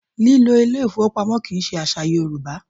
Lílo ilé ìfowópamọ́ kì í ṣe àṣà Yorùbá